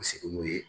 Sigi n'u ye